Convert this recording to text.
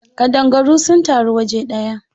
Ƙadangaru sun taru waje ɗaya.